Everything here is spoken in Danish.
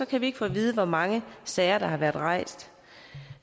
kan vi ikke få at vide hvor mange sager der har været rejst